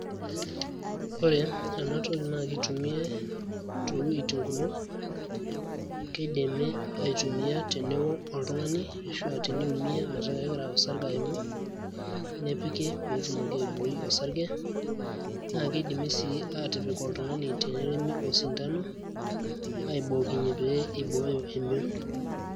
Ore enatoki na kitumiai towueiting' kumok. Kidimi aitumia teneo oltung'ani ashu ah teniumia metaa kegira osarge aimu, nepiki petumoki aiboi osarge. Na kidimi si atipik oltung'ani teneremi osindano, aibookinye pee ibooyo emion.